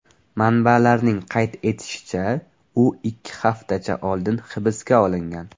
Manbalarning qayd etishicha, u ikki haftacha oldin hibsga olingan.